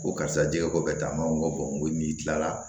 Ko karisa jɛgɛ ko bɛɛ taa mango ni kila la